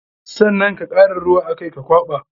Sannan ka kara ruwa a kai ka kwaɓa.